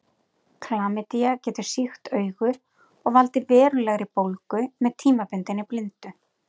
Klamydía getur sýkt augu og valdið verulegri bólgu með tímabundinni blindu.